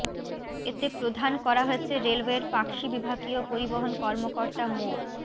এতে প্রধান করা হয়েছে রেলওয়ের পাকশি বিভাগীয় পরিবহন কর্মকর্তা মো